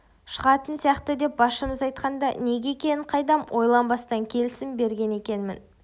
шығатын сияқты деп басшымыз айтқанда неге екенін қайдам ойланбастан келісім берген екенмін